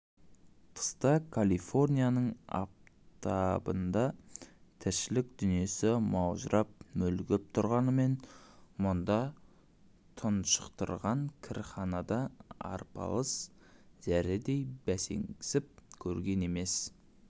тыста калифорнияның аптабында тіршілік дүниесі маужырап мүлгіп тұрғанымен мұнда тұншықтырған кірханада арпалыс зәредей бәсеңсіп көрген емес